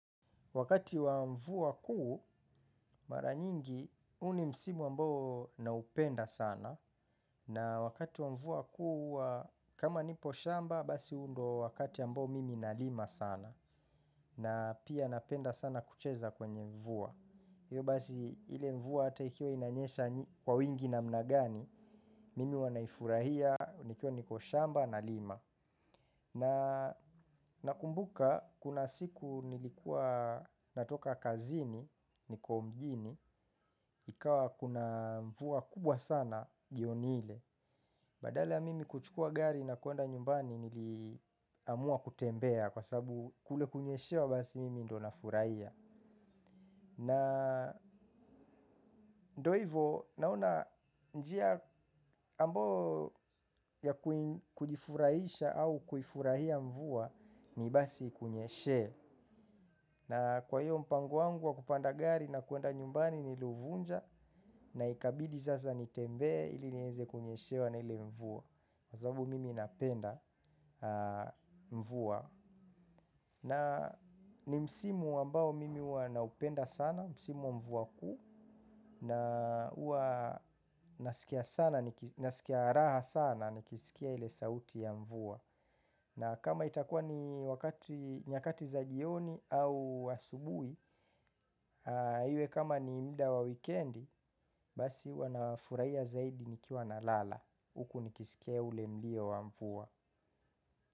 Wakati wa mvua kuu mara nyingi huu ni msimu ambao naupenda sana na wakati wa mvua kuu huwa kama nipo shamba basi huu ndo wakati ambao mimi nalima sana na pia napenda sana kucheza kwenye mvua. Hivyo basi ile mvua hata ikiwa inanyesha kwa wingi namna gani, mimi huwa naifurahia nikiwa niko shamba nalima. Na nakumbuka, kuna siku nilikuwa natoka kazini, niko mjini, ikawa kuna mvua kubwa sana jioni ile. Badala ya mimi kuchukua gari na kuenda nyumbani niliamua kutembea kwa sababu kule kunyeshewa basi mimi ndo nafurahia. Na ndo ivo naona njia ambao ya kujifurahisha au kuifurahia mvua ni basi ikunyeshee. Na kwa hiyo mpango wangu wa kupanda gari na kuenda nyumbani niliuvunja na ikabidi sasa nitembee ili niweze kunyeshewa na ile mvua. Kwa sababu mimi napenda mvua. Na ni msimu ambao mimi huwa naupenda sana, msimu wa mvua kuu, na huwa nasikia sana, nasikia raha sana, nikisikia ile sauti ya mvua. Na kama itakuwa ni wakati, nyakati za jioni au asubuhi, iwe kama ni muda wa wikendi, basi huwa nafurahia zaidi nikiwa nalala, huku nikisikia ule mlio wa mvua.